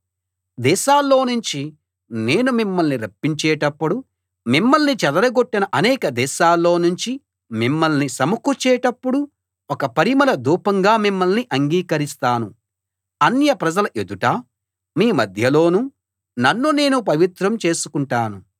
దేశాల్లో నుంచి నేను మిమ్మల్ని రప్పించేటప్పుడు మిమ్మల్ని చెదరగొట్టిన అనేక దేశాల్లో నుంచి మిమ్మల్ని సమకూర్చేటప్పుడు ఒక పరిమళ ధూపంగా మిమ్మల్ని అంగీకరిస్తాను అన్యప్రజల ఎదుటా మీ మధ్యలోనూ నన్ను నేను పవిత్రం చేసుకుంటాను